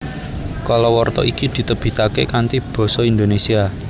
Kalawarta iki ditebitake kanthi Basa Indonesia